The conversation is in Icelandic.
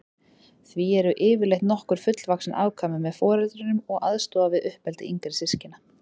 Því eru yfirleitt nokkur fullvaxin afkvæmi með foreldrunum og aðstoða við uppeldi yngri systkina.